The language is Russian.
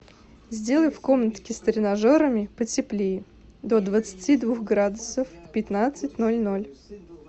сделай в комнатке с тренажерами потеплее до двадцати двух градусов в пятнадцать ноль ноль